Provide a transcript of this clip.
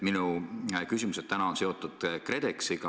Minu küsimused täna on seotud KredExiga.